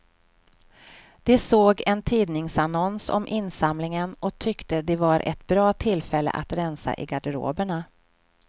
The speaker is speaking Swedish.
De såg en tidningsannons om insamlingen och tyckte det var ett bra tillfälle att rensa i garderoberna.